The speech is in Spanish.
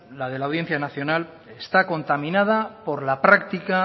la de la audiencia nacional está contaminada por la práctica